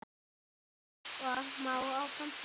Svo má áfram telja.